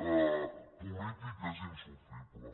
polític és insofrible